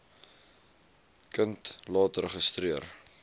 kind laat registreer